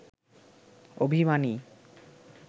অভিমানী